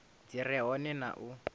dzi re hone na u